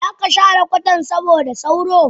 Zaka share kwatan saboda sauro?